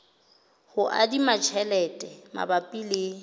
ho adima tjhelete mabapi le